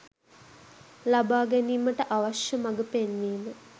ලබාගැනීමට අවශ්‍යමඟ පෙන්වීම